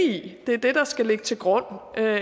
i det er det der skal ligge til grund og